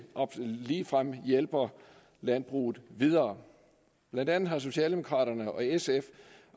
ligefrem hjælper landbruget videre blandt andet har socialdemokraterne og sf